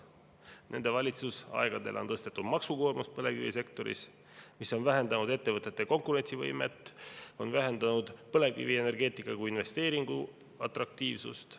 Nende valitsemise aegadel on maksukoormust põlevkivisektoris tõstetud ja see on vähendanud ettevõtete konkurentsivõimet, on vähendanud põlevkivienergeetika kui investeeringu atraktiivsust.